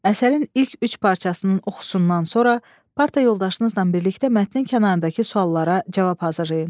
Əsərin ilk üç parçasının oxusundan sonra, parta yoldaşınızla birlikdə mətnin kənarındakı suallara cavab hazırlayın.